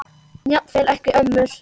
Jafnvel ekki ömmur.